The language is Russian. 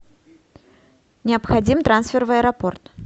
необходим трансфер в аэропорт